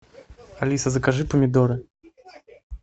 алиса закажи помидоры